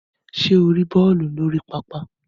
Ṣe o ri bọọlu ni orí pápá?